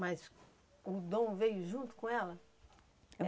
Mas o Dom veio junto com ela?